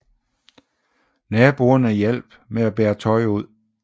Naboerne hjalp med bære tøj ud